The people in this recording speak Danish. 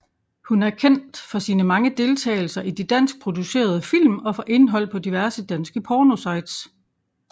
Hun er kendt for sine mange deltagelser i de danskproducerede film og for indhold på diverse danske pornosites